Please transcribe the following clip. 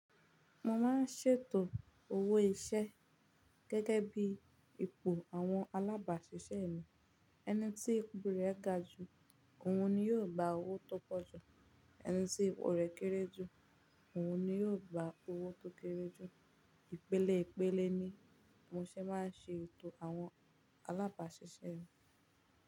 Mo máa ń ṣètò owó iṣẹ́ gẹ́gẹ́ bí ipò àwọn alábàáṣiṣẹ́ mi. Ẹni tí ipò rẹ ga jù, òun ni yóò gba owó tó pọ̀ jù. Ẹni tí ipò rẹ̀ kéré jù, òun ni yóò gba owó tó kéré jù. Ìpele ìpele ni mo ṣe máa ń ṣe ètò àwọn alábàáṣiṣẹ́ mi.